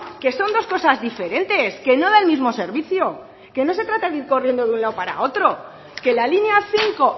que son dos cosas diferentes que no da el mismo servicio que no se trata de ir corriendo de un lado para otro que la línea cinco